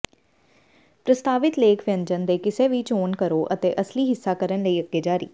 ਪ੍ਰਸਤਾਵਿਤ ਲੇਖ ਵਿਅੰਜਨ ਦੇ ਕਿਸੇ ਵੀ ਚੋਣ ਕਰੋ ਅਤੇ ਅਮਲੀ ਹਿੱਸਾ ਕਰਨ ਲਈ ਅੱਗੇ ਜਾਰੀ